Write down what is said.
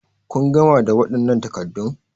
Kun gama da waɗannan takaddun?